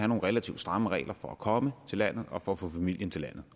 nogle relativt stramme regler for at komme til landet og for at få familien til landet